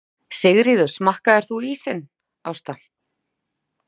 Sigríður: Smakkaðir þú ísinn, Ásta?